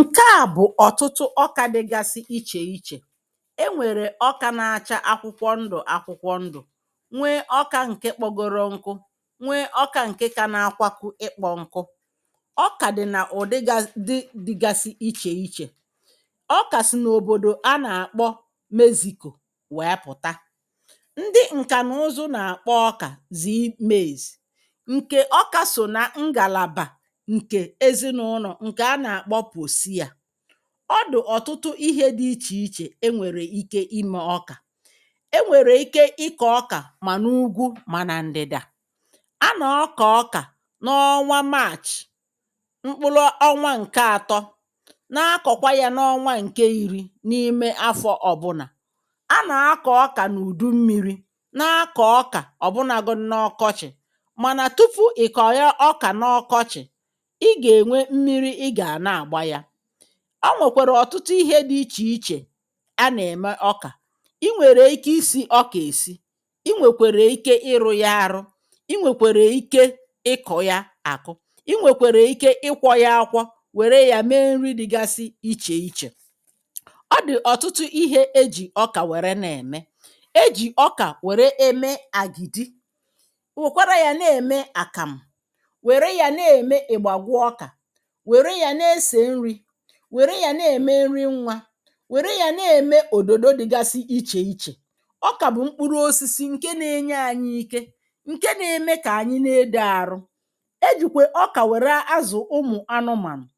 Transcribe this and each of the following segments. Ṅke à bụ̀ ọ̀tụtụ ọkà dịgasị ichè ichè. E nwèrè ọkà na-achà akwụkwọ ndụ̀ akwụkwọ ndụ̀, nwee ọkà nke kpọgoro nkụ, nwee ọkà nke ka na-akwako ịkpọ nkụ, ọkà dị nà ụdịgasị dị dịgasị ichè ichè. Ọkà si n’òbòdò a nà-àkpọ Mexico wèe pụ̀ta, ndị ǹkànàụzụ nà-àkpọ ọkà Z maize, ǹkè ọkà sò na ngàlàbà nke ezin’ụlọ nke a na akpọ posia, ọdị ọ̀tụtụ ihe dị̇ ichè ichè e nwèrè ike ime ọkà, e nwèrè ike ịkọ̇ ọkà mà n’ugwu mà nà ndị̀dà. A nà akọ ọkà n’ọnwa maachị̀ mkpụlụ ọnwa ǹke atọ, n’akọ̀kwa ya n’ọnwa ǹke iri̇ n’ime afọ̀ ọ̀bụnà. A nà akọ̀ ọkà n’ùdu mmi̇ri̇, na akọ̀ ọkà ọ̀bụnagodi n’ọkọchị̀, mànà tupu ị̀ kọ̀nye ọkà n’ọkọchị̀,ị ga enwe mmiri ị ga na- agba ya. O nwèkwèrè ọ̀tụtụ ihe dị̇ ichè ichè anà-ème ọkà, i nwèrè ike isi̇ ọkà èsi, i nwèkwèrè ike ịrụ̇ ya arụ, i nwèkwèrè ike ịkọ ya àkụ, i nwèkwèrè ike ịkwọ̇ ya akwọ, wère yȧ mee nri dịgasị ichè ichè, ọ dị̀ ọ̀tụtụ ihe ejì ọkà wère na-ème. Ejì ọkà wère eme àgìdì, wèkwara yȧ na-ème àkàmụ̀c, wère yȧ na-ème ị̀gbàgwụ ọkà, wère ya na ese nri, were ya na-ème nri nwa, wère ya na-ème òdòdò dịgasi ichè ichè. Ọkà bụ̀ mkpụrụ osisi ǹke na-enye anyị ike, ǹke na-ème kà anyị na-edo arụ, ejìkwè ọkà wère azụ̀ ụmụ̀ anụmànụ̀,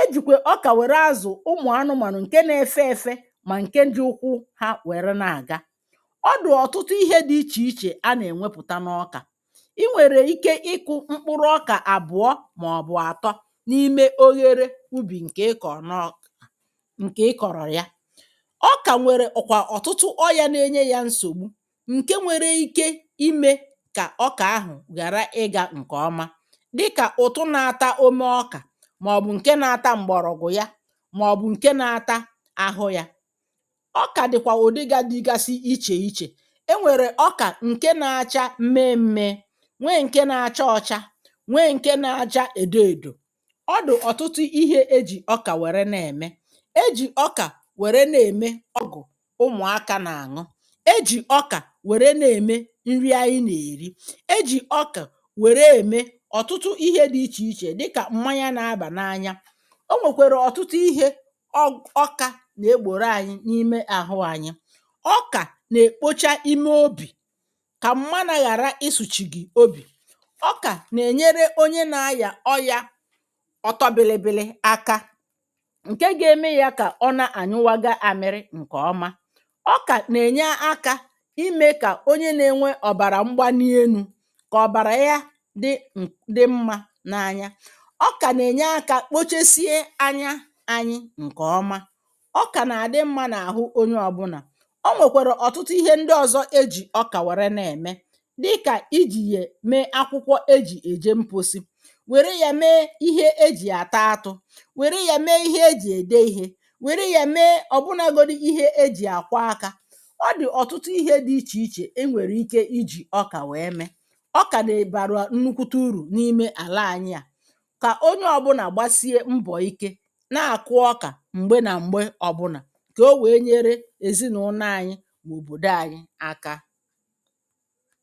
ejìkwè ọkà wère azụ̀ ụmụ̀ anụmànụ̀ ǹke na-efe efe, mà ǹke ji ụkwụ ha wère na-àga, ọdi ọ̀tụtụ ihe dị ichè ichè a nà-ènwepụ̀ta n’ọkà. Ị nwèrè ike ịkụ̇ mkpụrụ ọkà àbụọ maọbụ atọ n’ime oghere ubi nke ịkọ na ọkwụ, ǹkè ị kọ̀rọya. Ọkà nwere òkwà ọ̀tụtụ ọyȧ na-enye yȧ nsògbu, ǹke nwere ike imė kà ọkà ahụ̀ ghàra ị gà ǹkè ọma, dịkà ụ̀tụ na-ata ome ọkà, màọ̀bụ̀ ǹke na-ata m̀gbọ̀rọ̀gwụ̀ ya, màọ̀bụ̀ ǹke na-ata àhụ yȧ. Ọkà dịkwà ụ̀dị ga dịgasi ichè ichè, e nwèrè ọkà ǹke na-acha mmee mmeė, nwee ǹke na-acha ọcha, nwee ǹke na-acha èdo èdò. Ọdị ọtụtụ ihė ejì ọkà wère na-ème. ejì ọkà wère na-ème ọgwụ̀ ụmụ̀aka n’àṅụ, ejì ọkà wère na-ème nri àyị nà-èri, ejì ọkà wère n’ème ọ̀tụtụ ihė dị ichè ichè dịkà mmanya na-abà n’anya, o nwèkwèrè ọ̀tụtụ ihė ọ bụ ọkȧ nà-egbòro anyị n’ime àhụ anyị. Ọkà nà-èkpocha ime obì kà m̀manụ-àghàra isùchì gị̀ obì. Ọkà nà-ènyere onye na-ayà ọyàọtobilịbịlị aka, ǹke ga-eme ya kà ọ na-ànyụwaga àmịrị ǹkè ọma .Ọkà nà-ènya akȧ imė kà onye na-enwe ọ̀bàrà m̀gbanị enu̇, kà ọ̀bàrà ya dị ǹ dị mmȧ n’anya. Ọkà nà-ènye akȧ kpochesie anya anyị̇ ǹkè ọma. Ọkà nà-àdị mmȧ n’àhụ onye ọ̀bụnà. O nwèkwèrè ọ̀tụtụ ihe ndị ọ̀zọ ejì ọkà wère na-ème, dịkà ijì yè mee akwụkwọ eji̇ èje mposi, wère ya mee ihe ejì ata atụ, wère ya mee ihe ejì ède ihė, wère ya mee ọ̀bụnȧgodu ihe ejì àkwa akȧ, ọ dị̀ ọ̀tụtụ ihe dị̇ ichè ichè e nwèrè ike ijì ọkà nwèe mee. Ọkà nà-bara nnukwute urù n’ime àla anyị à. Kà onye ọ̀bụnà gbasie mbọ̀ ike na-àkụ ọkà m̀gbe nà m̀gbe ọ̀bụnà, kà o wèe nyere èzinụlọ anyị̇ na òbòdo anyị aka.